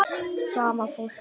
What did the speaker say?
Sama fólk.